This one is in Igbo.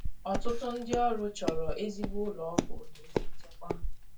Ọtụtụ ndị ọrụ chọrọ ezigbo ụlọ ọgwụ na ezi nchekwa